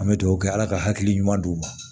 An bɛ dugawu kɛ ala ka hakili ɲuman d'u ma